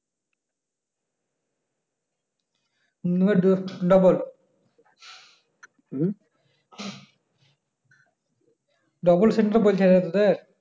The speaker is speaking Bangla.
double double centre পরেছে তোদের